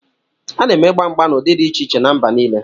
A na-eme igba mgba n'ụdị dị iche iche na mba nile